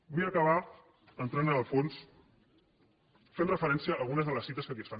vull acabar entrant a fons fent referència a algunes de les cites que aquí es fan